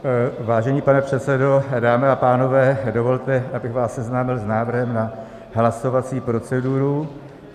Vážený pane předsedo, dámy a pánové, dovolte, abych vás seznámil s návrhem na hlasovací proceduru.